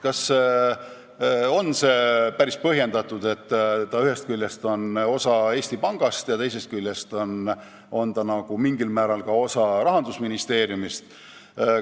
Kas on päris põhjendatud, et ta ühest küljest on osa Eesti Pangast ja teisest küljest nagu mingil määral osa Rahandusministeeriumist?